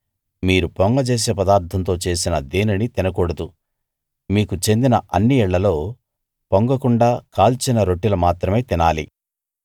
మీరు పొంగజేసే పదార్థంతో చేసిన దేనినీ తినకూడదు మీకు చెందిన అన్ని ఇళ్ళలో పొంగకుండా కాల్చిన రొట్టెలు మాత్రమే తినాలి